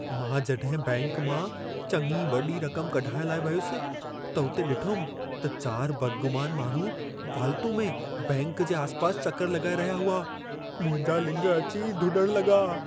मां जॾहिं बैंक मां चङी वॾी रक़म कढाइण लाइ वियुसि, त उते ॾिठुमि त 4 बदगुमान माण्हू फ़ाल्तू में बैंक जे आसिपासि चकर लॻाए रहिया हुआ। मुंहिंजा लिङ अची धुॾण लॻा।